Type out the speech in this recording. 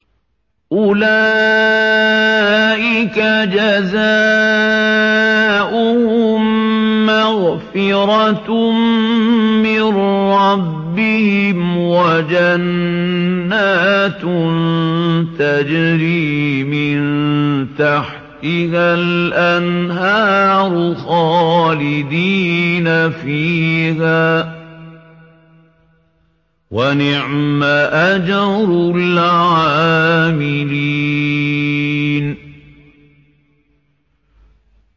أُولَٰئِكَ جَزَاؤُهُم مَّغْفِرَةٌ مِّن رَّبِّهِمْ وَجَنَّاتٌ تَجْرِي مِن تَحْتِهَا الْأَنْهَارُ خَالِدِينَ فِيهَا ۚ وَنِعْمَ أَجْرُ الْعَامِلِينَ